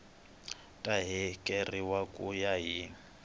ta hakeriwa ku ya hi